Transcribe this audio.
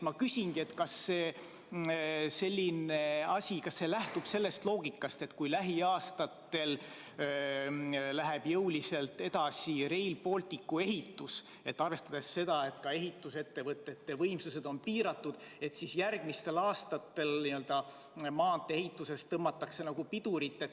Ma küsingi, kas selline asi lähtub loogikast, et kui lähiaastatel läheb jõuliselt edasi Rail Balticu ehitus ja ka ehitusettevõtete võimsused on piiratud, siis järgmistel aastatel maantee-ehituses tõmmatakse pidurit?